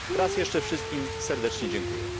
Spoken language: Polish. Raz jeszcze wszystkim serdecznie dziękuję.